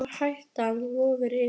En sú hætta vofir yfir.